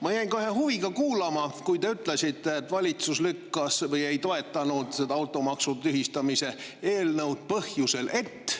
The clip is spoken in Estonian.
Ma jäin kohe huviga kuulama, kui te ütlesite, et valitsus ei toetanud seda automaksu tühistamise eelnõu põhjusel, et …